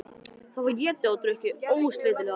Það var étið og drukkið ósleitilega.